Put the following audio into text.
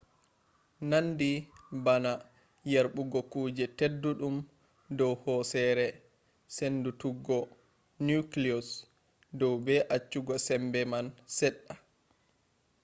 nandi bana yerbugo kuje tedduɗum dow hoosere. sendutuggo nucleus dow be accugo sembe man seɗɗa